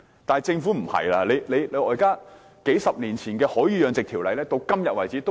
惟政府卻不是這樣做，數十年前的《海魚養殖條例》沿用至今。